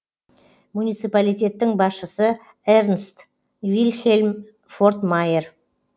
муниципалитеттің басшысы эрнст вильхельм фортмайер